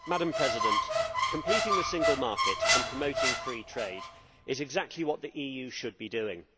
Madam President, completing the single market and promoting free trade is exactly what the EU should be doing.